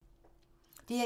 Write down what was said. DR1